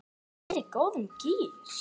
Ég er í góðum gír.